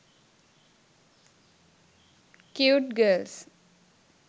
cute girls